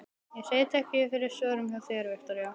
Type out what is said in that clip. Ég sit ekki fyrir svörum hjá þér, Viktoría.